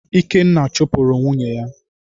Ikenna chupuru nwunye ya